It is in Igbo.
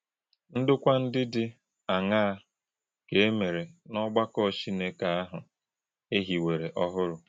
Ndọ̀kwà̄ ndị́ dị̄ àṅàà kà e mè̄rè̄ ‘n’ọ̀gbàkọ̄ Chínèkè̄’ àhụ̄ e híwèrè̄ ọ̀hụ́rụ̀?